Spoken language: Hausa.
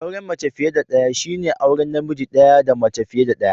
Auren mace fiye da daya shine auren namiji daya da mace fiye da daya